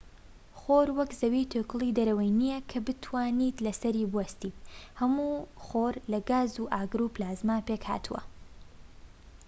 خۆر وەک زەوی توێکڵی دەرەوەی نیە کە بتوانیت لەسەری بوەستیت هەموو خۆر لە گاز و ئاگر و پلازما پێکهاتووە